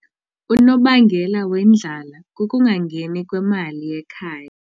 Unobangela wendlala kukungangeni kwemali ekhaya.